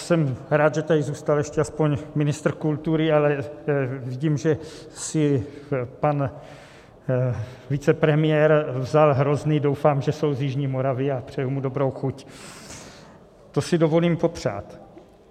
Jsem rád, že tady zůstal ještě aspoň ministr kultury, ale vidím, že si pan vicepremiér vzal hrozny, doufám, že jsou z jižní Moravy, a přeju mu dobrou chuť, to si dovolím popřát.